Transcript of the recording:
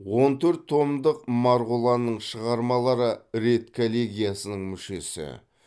он төрт томдық марғұланның шығармалары редколлегиясының мүшесі